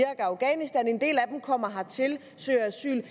og afghanistan en del af dem kommer hertil søger asyl